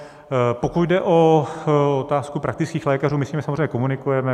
Pokud jde o otázku praktických lékařů, my s nimi samozřejmě komunikujeme.